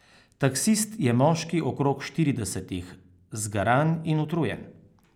Taksist je moški okrog štiridesetih, zgaran in utrujen.